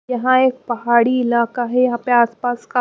यहाँ एक पहाड़ी इलाका है यहाँ पे आस पास का --